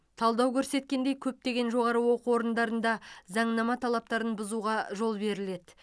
талдау көрсеткендей көптеген жоғары оқу орындарында заңнама талаптарын бұзуға жол беріледі